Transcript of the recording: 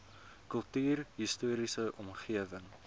kultuurhis toriese omgewing